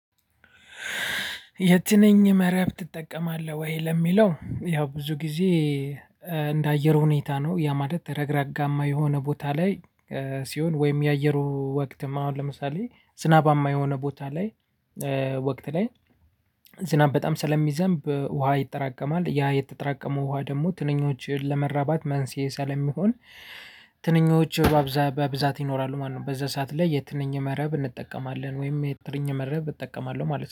የትንኝ መረብ ትጠቀማለህ ወይ ለሚለው ያው ብዙ ጊዜ እንደ አየር ሁኔታ ነው ያ ማለት ረግራጋማ የሆነ ቦታ ላይ ሲሆን ወይም የአየሩ ወቅትም አሁን ለምሳሌ ዝናባማ የሆነ ቦታ ላይ ወቅት ላይ ዝናብ በጣም ስለሚዘንብ ውሃ ይጠራቀማል። ያ የተጠራቀመ ውሃ ደግሞ ትንኞችን ለመራባት መንስኤ ስለሚሆን ትንኞች በብዛት ይኖራሉ ማለት ነው። በዛ ሰዓት ላይ የትንኝ መረብ እንጠቀማለን ወይም የትንኝ መረብ እጠቀማለሁ ማለት ነው።